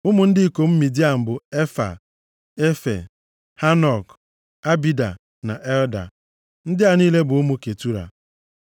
Ụmụ ndị ikom Midian bụ Efaa, Efe, Hanok, Abida, na Eldaa. Ndị a niile bụ ụmụ Ketura.